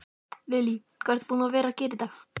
Lillý: Hvað ertu búinn að gera í dag?